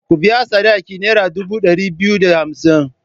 Ku biya sadakin nera dubu ɗari biyu da hamsn!